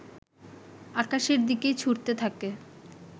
আকাশের দিকেই ছুঁড়তে থাকে